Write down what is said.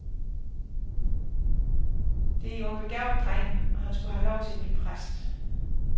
Det er jo en begavet dreng, og han skulle have lov til at blive præst.